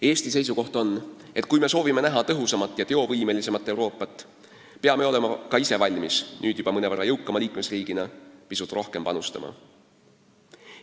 Eesti seisukoht on, et kui me soovime tõhusamat ja teovõimelisemat Euroopat, peame olema ka ise valmis nüüd juba mõnevõrra jõukama liikmesriigina pisut rohkem panustama.